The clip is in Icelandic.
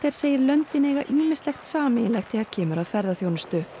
segir löndin eiga ýmislegt sameiginlegt þegar kemur að ferðaþjónustu